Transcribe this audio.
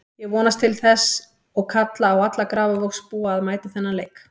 Ég vonast til þess og kalla á alla Grafarvogsbúa að mæta á þennan leik.